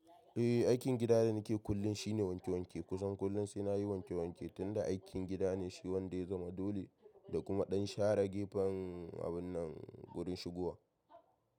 Eh, aikin gida da nake kullum shine wanke wanke. Kusan kullum sai na yi wanke wanke tunda aikin gida ne shi wanda ya zama dole da kuma ɗan share gefen wannan wurin shigowa.